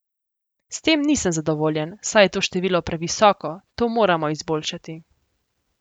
S tem nisem zadovoljen, saj je to število previsoko, to moramo izboljšati.